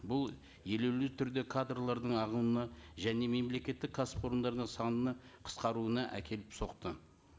бұл елеулі түрде кадрлардың ағымына және мемлекеттік кәсіпорындарының санына қысқаруына әкеліп соқты